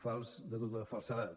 fals de tota falsedat